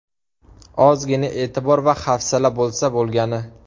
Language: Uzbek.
Ozgina e’tibor va hafsala bo‘lsa bo‘lgani.